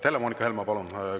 Helle-Moonika Helme, palun!